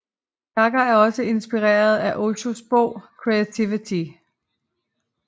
Gaga er også inspireret af Oshos bog Creativity